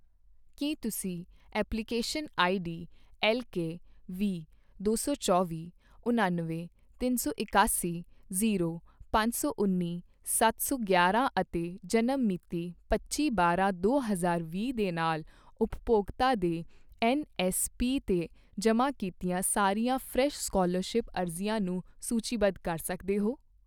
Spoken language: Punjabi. ਕੀ ਤੁਸੀਂ ਐਪਲੀਕੇਸ਼ਨ ਆਈਡੀ ਐੱਲਕੇ ਵੀਹ, ਦੋ ਸੌ ਚੌਵੀਂ, ਉਣੱਨਵੇਂ, ਤਿੰਨ ਸੌ ਇਕਾਸੀ, ਜੀਰੋ, ਪੰਜ ਸੌ ਉੱਨੀ, ਸੱਤ ਸੌ ਗਿਆਰਾ ਅਤੇ ਜਨਮ ਮਿਤੀਪੱਚੀ ਬਾਰਾਂ ਦੋ ਹਜ਼ਾਰ ਵੀਹ ਦੇ ਨਾਲ ਉਪਭੋਗਤਾ ਦੇ ਐੱਨਐੱਸਪੀ 'ਤੇ ਜਮ੍ਹਾਂ ਕੀਤੀਆਂ ਸਾਰੀਆਂ ਫਰੈਸ਼ ਸਕਾਲਰਸ਼ਿਪ ਅਰਜ਼ੀਆਂ ਨੂੰ ਸੂਚੀਬੱਧ ਕਰ ਸਕਦੇ ਹੋ